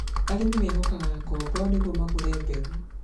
arĩmi meehokaga ngombo nĩguo magũre mbegũ .